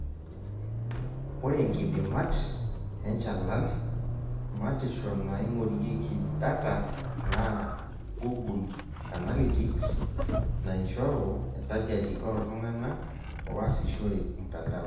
Ore nkidimat, enchalan, matisho naaing'orieki datanaa google Analytics naaishoru esajati ooltung'ana oasishore mtandao.